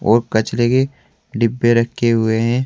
और कचरे के डिब्बे रखे हुए हैं।